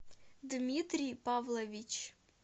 дмитрий павлович